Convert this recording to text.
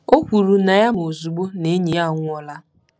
O kwuru na ya ma ozugbo na enyi ya anwụọla.